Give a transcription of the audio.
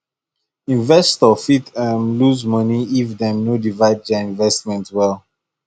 investor fit um lose money if dem no divide their investment well